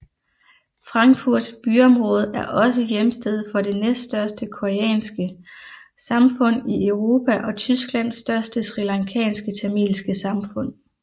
Frankfurts byområde er også hjemsted for det næststørste koreanske samfund i Europa og Tysklands største srilankanske tamilske samfund